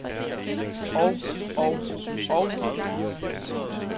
og og og